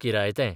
किरायतें